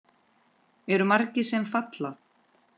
Eru margir sem falla?